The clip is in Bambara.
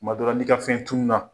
Tuma dɔ la n'i ka fɛn tununna